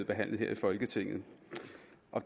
behandlet her i folketinget